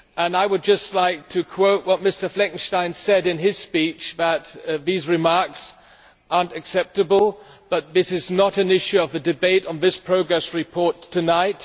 I would just like to quote what Mr Fleckenstein said in his speech, namely that these remarks are not acceptable but that this is not an issue in the debate on this progress report tonight.